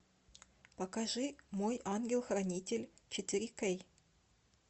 покажи мой ангел хранитель четыре кей